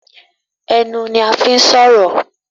Ẹnu ní a fín sọrọ